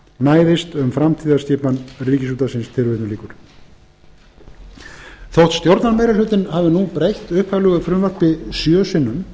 næðist um framtíðarskipan ríkisútvarpsins þótt stjórnarmeirihlutinn hafi nú breytt upphaflegu frumvarpi sjö sinnum